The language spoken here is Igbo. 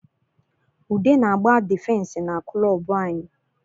Ude na agba difensi na kulobu anyị